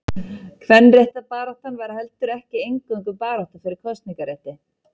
Kvenréttindabaráttan var heldur ekki eingöngu barátta fyrir kosningarétti.